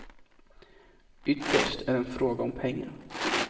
Ytterst är det en fråga om pengar.